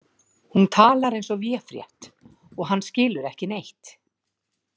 Hún talar eins og véfrétt og hann skilur ekki neitt.